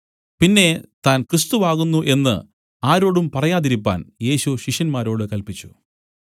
പിന്നെ താൻ ക്രിസ്തു ആകുന്നു എന്നു ആരോടും പറയാതിരിപ്പാൻ യേശു ശിഷ്യന്മാരോട് കല്പിച്ചു